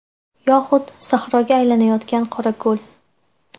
Yoxud sahroga aylanayotgan Qorako‘l.